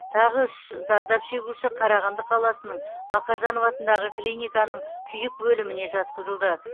тағы үш зардап шегуші қарағанды қаласының мақажанов атындағы клиниканың күйік бөліміне жатқызылды